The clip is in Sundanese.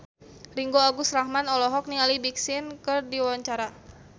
Ringgo Agus Rahman olohok ningali Big Sean keur diwawancara